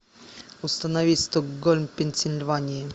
установи стокгольм пенсильвания